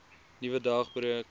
nuwe dag breek